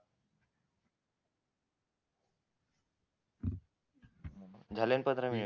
झाले ना पंधरा मिनिट